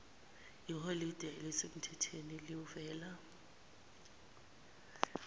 iholide elisemthethweni liwela